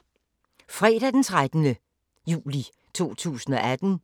Fredag d. 13. juli 2018